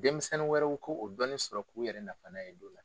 Denmisɛnnin wɛrɛw ko o dɔɔni sɔrɔ k'u yɛrɛ nafa na ye